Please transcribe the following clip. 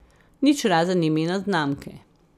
Nič razen imena znamke.